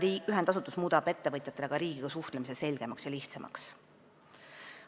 Nii et ühendasutus muudab ka ettevõtjate riigiga suhtlemise selgemaks ja lihtsamaks.